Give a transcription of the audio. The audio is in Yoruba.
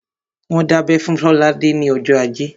Wọ́n dábẹ́ fún Lolade ní ọjọ́ ajé